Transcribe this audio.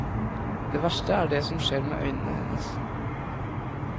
Det verste er det som skjer med øynene hennes.